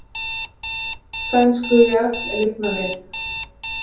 Sænskur jarl lifnar við